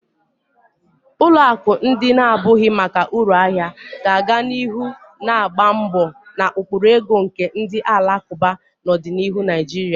Ụlọ akụ ndị na-abụghị maka uru ahia ga-aga n'ihu na-agba mbọ na ụkpụrụ ego nke ndi alakuba na ọdịnihu Naijiria.